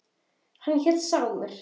Hann hét Sámur.